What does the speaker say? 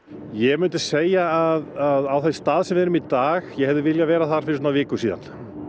ég myndi segja að á þeim stað sem við erum í dag ég hefði viljað vera þar fyrir svona viku síðan